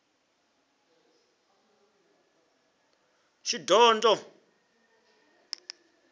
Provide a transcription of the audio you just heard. shidondho